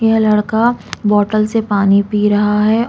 यह लड़का बौटल से पानी पी रहा है।